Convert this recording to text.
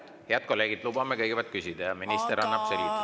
Head kolleegid, lubame kõigepealt küsida ja siis annab minister meile selgituse.